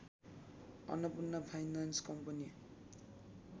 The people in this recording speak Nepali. Annapurna finance company